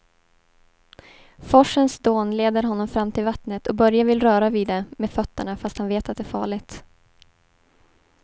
Forsens dån leder honom fram till vattnet och Börje vill röra vid det med fötterna, fast han vet att det är farligt.